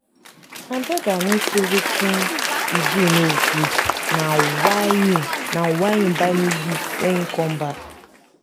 my brother no say wetin he do no good and na why he na why he buy me gift wen he come back